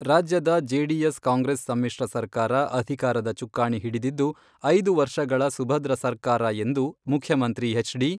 ರಾಜ್ಯದ JDS Congress ಸಮ್ಮಿಶ್ರ ಸರ್ಕಾರ ಅಧಿಕಾರದ ಚುಕ್ಕಾಣಿ ಹಿಡಿದಿದ್ದು, ಐದು ವರ್ಷಗಳ ಸುಭದ್ರ ಸರ್ಕಾರ ಎಂದು ಮುಖ್ಯಮಂತ್ರಿ ಎಚ್.ಡಿ.